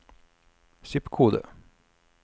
zip-kode